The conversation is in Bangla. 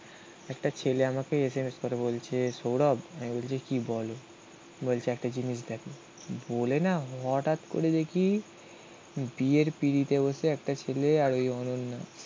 একটা ছেলে আমাকে SMS করে বলছে সৌরভ আমি বলছি কি বলো বলছে একটা জিনিস দেখো বলে না হঠাৎ করে দেখি বিয়ের পিঁড়িতে বসে একটা ছেলে আর ওই অনন্যা.